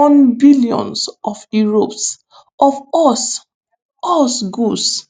on billions of euros of us us goods.